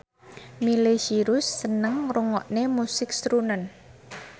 Miley Cyrus seneng ngrungokne musik srunen